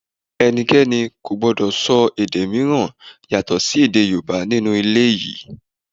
Ẹnikẹ́ni ò gbọ́dọ̀ sọ èdè mìíràn yàtọ̀ sí èdè Yorùbá nínú ilé yìí!